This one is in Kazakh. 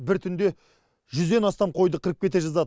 бір түнде жүзден астам қойды қырып кете жаздады